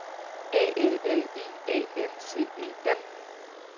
A L L I A N C E N